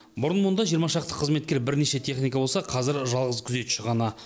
бұрын мұнда жиырма шақты қызметкер бірнеше техника болса қазір жалғыз күзетші ғана